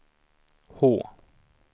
H